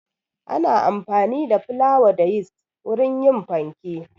Ana amfani da flawa da yist wurin yin fanke.